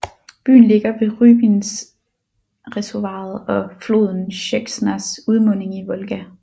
Byen ligger ved Rybinskreservoiret og floden Sjeksnas udmunding i Volga